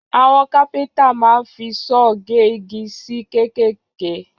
Àwọn kápẹ́ntà máa ń fi saw gé igi sí kéékèèké